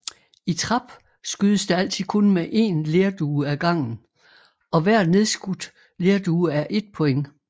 I trap skydes der altid kun mod én lerdue ad gangen og hver nedskudt lerdue er ét point